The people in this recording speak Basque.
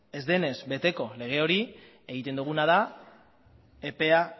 ez denez beteko lege hori egiten duguna da epea